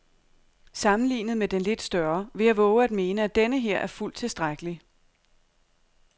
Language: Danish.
Sammenlignet med den lidt større vil jeg vove at mene, at denneher er fuldt tilstrækkelig.